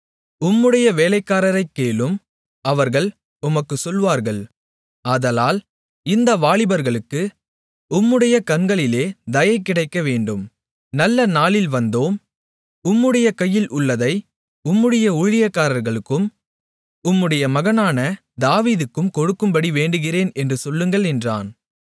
உம்முடைய வேலைக்காரரைக் கேளும் அவர்கள் உமக்குச் சொல்லுவார்கள் ஆதலால் இந்த வாலிபர்களுக்கு உம்முடைய கண்களிலே தயை கிடைக்கவேண்டும் நல்ல நாளில் வந்தோம் உம்முடைய கையில் உள்ளதை உம்முடைய ஊழியக்காரர்களுக்கும் உம்முடைய மகனான தாவீதுக்கும் கொடுக்கும்படி வேண்டுகிறேன் என்று சொல்லுங்கள் என்றான்